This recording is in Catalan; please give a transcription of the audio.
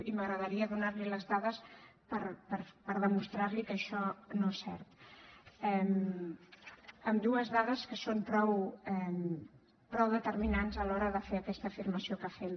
i m’agradaria donar li les dades per demostrar li que això no és cert amb dues dades que són prou determinants a l’hora de fer aquesta afirmació que fem